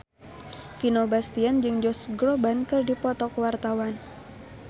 Vino Bastian jeung Josh Groban keur dipoto ku wartawan